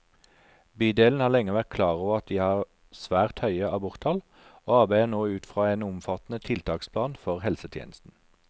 Bydelen har lenge vært klar over at de har svært høye aborttall, og arbeider nå ut fra en omfattende tiltaksplan for helsetjenesten.